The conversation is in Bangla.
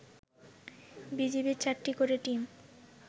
বিজিবির ৪টি করে টিম